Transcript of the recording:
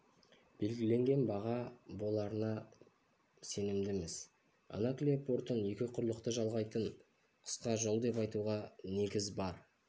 белгіленген баға боларына сенімдіміз анаклия портын екі құрлықты жалғайтын қысқа жол деп айтуға негіз бар